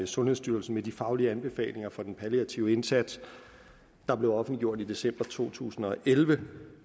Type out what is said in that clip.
sundhedsstyrelsen med de faglige anbefalinger fra den palliative indsats der blev offentliggjort i december to tusind og elleve